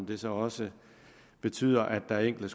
det så også betyder at der er enkelte